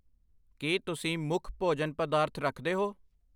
ਕਿ ਤੁਸੀਂ ਮੁੱਖ ਭੋਜਨ ਪਦਾਰਥ ਰੱਖਦੇ ਹੋ?